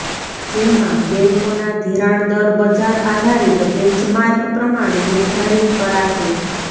જેમાં બેન્કોના ધિરાણદર બજાર આધારિત બેન્ચમાર્ક પ્રમાણે નિર્ધારિત કરાશે